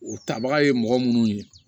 O tabaga ye mɔgɔ munnu ye